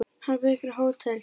Hann byggir hótel.